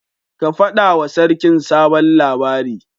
Ka faɗa wa sarkin sabon labari